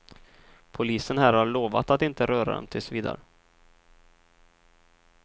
Polisen här har lovat att inte röra dem tills vidare.